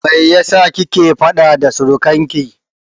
Me yasa kike faɗa da surikanki?